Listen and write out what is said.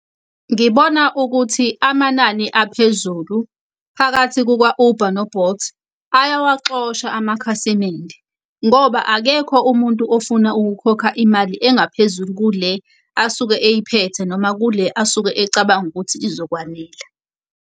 Ngibona ukuthi amanani aphezulu phakathi kuka-Uber no-Bolt ayawaxosha amakhasimende ngoba akekho umuntu ofuna ukukhokha imali engaphezulu kule asuke eyiphethe, noma kule asuke ecabanga ukuthi izokwanela.